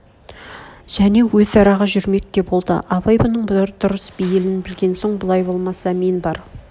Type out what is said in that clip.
және өз араға жүрмек те болды абай бұның дұрыс бейлін білген соң бұлай болса мен бар